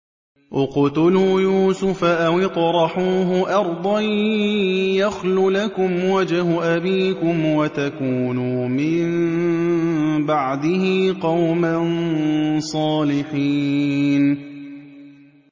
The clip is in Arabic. اقْتُلُوا يُوسُفَ أَوِ اطْرَحُوهُ أَرْضًا يَخْلُ لَكُمْ وَجْهُ أَبِيكُمْ وَتَكُونُوا مِن بَعْدِهِ قَوْمًا صَالِحِينَ